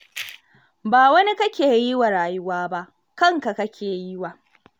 Ba wani kake yi wa rayuwa ba, kanka kake yi wa.